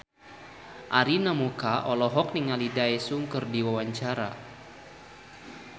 Arina Mocca olohok ningali Daesung keur diwawancara